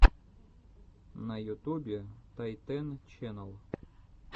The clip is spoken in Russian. на ютубе тайтэн ченнал